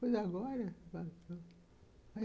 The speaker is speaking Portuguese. Pois, agora passou.